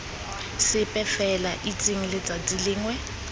sepe fela itseng letsatsi lengwe